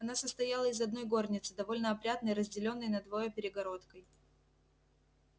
она состояла из одной горницы довольно опрятной разделённой надвое перегородкой